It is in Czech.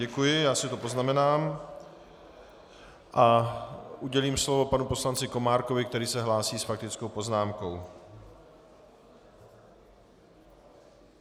Děkuji, já si to poznamenám a udělím slovo panu poslanci Komárkovi, který se hlásí s faktickou poznámkou.